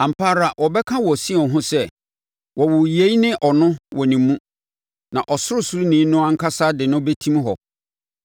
Ampa ara wɔbɛka wɔ Sion ho sɛ, “Wɔwoo yei ne ɔno wɔ ne mu, na Ɔsorosoroni no ankasa de no bɛtim hɔ.”